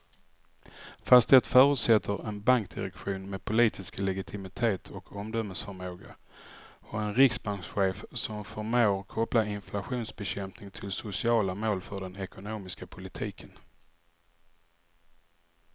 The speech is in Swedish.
Fast det förutsätter en bankdirektion med politisk legitimitet och omdömesförmåga och en riksbankschef som förmår koppla inflationsbekämpning till sociala mål för den ekonomiska politiken.